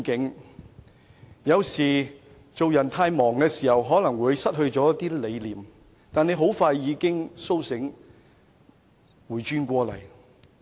他說，有時候太忙碌，可能會失去一些理念，但他很快已甦醒過來。